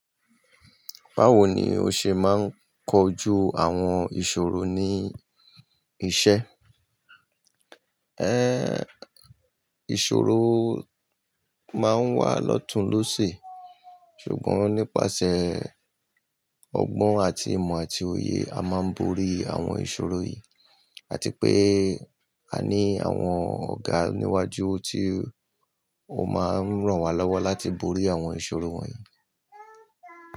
Báwo ni o ṣe máa ń kojú àwọn ìṣòro ní iṣẹ́? Ẹ̀, ìṣòro máa ń wà lọ́tùn lọ́sẹ̀. Ṣùgbọ́n nípasẹ̀ ọgbọ́n àti ìmọ̀ àti òye, a máa ń borí àwọn ìṣòro yìí. Àti pé a ní àwọn ọ̀gá níwájú tí ó máa ń ràn wá lọ́wọ́ láti borí àwọn ìṣòro wọ̀nyí.